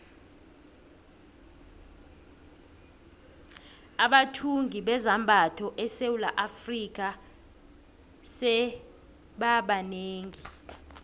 abathungi bezambatho esewula afrika sebaba banengi